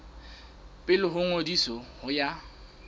pele ho ngodiso ho ya